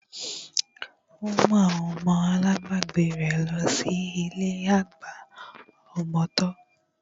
Ó mú àwọn ọmọ alábagbé rẹ̀ lọ sí ilé àgbà ọmọ tọ́